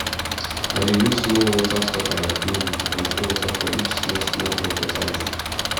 i dey use small water stopper like needle to control water for each small small drop water line